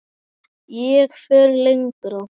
Ég fer lengra.